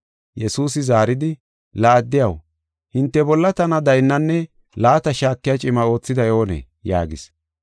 Yesuusi zaaridi, “La addiyaw, hinte bolla tana daynnanne laata shaakiya cima oothiday oonee?” yaagis.